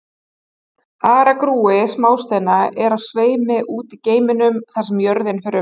Aragrúi smásteina er á sveimi úti í geimnum þar sem jörðin fer um.